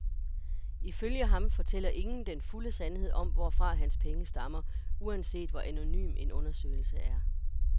Ifølge ham fortæller ingen den fulde sandhed om, hvorfra hans penge stammer, uanset hvor anonym en undersøgelse er.